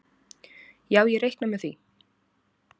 Já ég reikna með því.